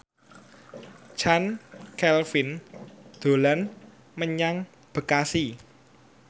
Chand Kelvin dolan menyang Bekasi